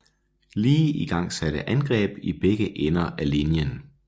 Lee igangsatte angreb i begge ender af linjen